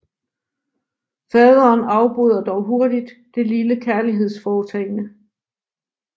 Faderen afbryder dog hurtigt det lille kærlighedsforehavende